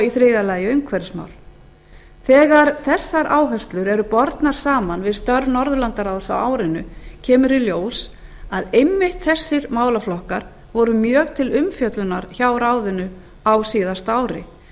í þriðja lagi umhverfismál þegar þessar áherslur eru bornar saman við störf norðurlandaráðs á árinu kemur í ljós að einmitt þessir málaflokkar voru mjög til umfjöllunar hjá ráðinu á síðasta ári